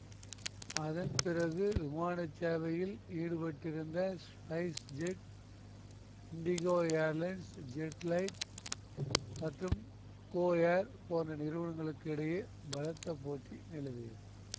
அதன்பிறகு விமான சேவையில் ஈடுபட்டிருந்த SpiceJet IndiGo airlines JetLite மற்றும் கோ ஏர் போன்ற நிறுவனங்களுக்கு இடையே பலத்த போட்டி நிலவியது